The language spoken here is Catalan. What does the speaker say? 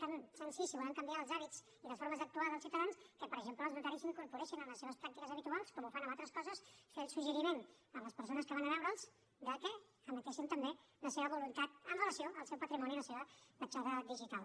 tan senzill si volem canviar els hàbits i les formes d’actuar dels ciutadans que per exemple els notaris incorporessin en les seves pràctiques habituals com ho fan en altres coses fer el suggeriment a les persones que van a veure’ls de que emetessin també la seva voluntat amb relació al seu patrimoni i a la seva petjada digital